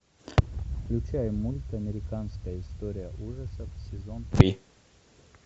включай мульт американская история ужасов сезон три